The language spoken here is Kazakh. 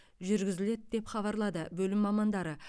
жүргізіледі деп хабарлады бөлім мамандары